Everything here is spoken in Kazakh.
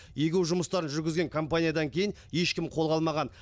егу жұмыстарын жүргізген компаниядан кейін ешкім қолға алмаған